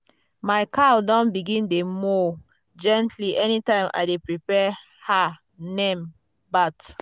my cow don begin dey moo gently anytime i dey prepare her nem bath.